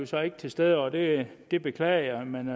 så ikke til stede og det det beklager jeg men